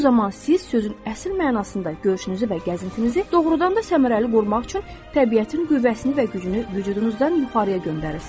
Bu zaman siz sözün əsl mənasında görüşünüzü və gəzintinizi doğrudan da səmərəli qurmaq üçün təbiətin qüvvəsini və gücünü vücudunuzdan yuxarıya göndərirsiz.